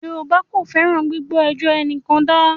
Yorùbá kò fẹ́ràn “ gbígbọ́ ẹjọ́ ẹnìkan dá ”.